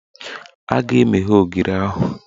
A ga-emeghe ogiri ahụ